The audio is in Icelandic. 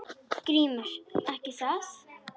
GRÍMUR: Ekki það?